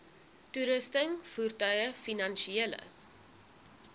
toerusting voertuie finansiële